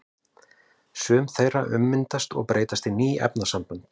Sum þeirra ummyndast og breytast í ný efnasambönd.